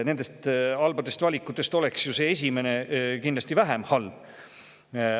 Nendest halbadest valikutest oleks ju esimene kindlasti vähem halb.